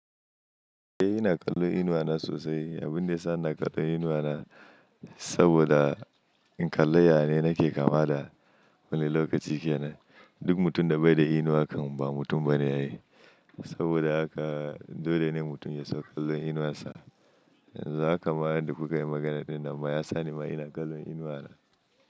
Eh ina kallon inuwa na sosai, abun da ya sa ina kallon inuwa na, saboda, in kalla ya ne nake kama da wani lokaci kenan. Duk mutum da bai da inuwa kan ba mutum ba ne a yi, saboda haka dole ne mutum ya so kallon inuwa sa. Yanzu haka ma yadda ku ka yi maganar dinnan ma ya sa ni ma ina kallon inuwa na.